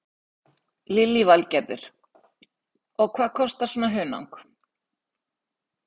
Lillý Valgerður: Og hvað kostar svona hunang?